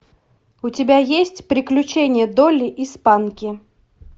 у тебя есть приключения долли и спанки